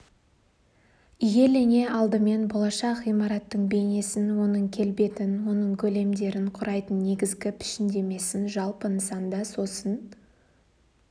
иелене алдымен болашақ ғимараттың бейнесін оның келбетін оның көлемдерін құрайтын негізгі пішіндемесін жалпы нысанда сосын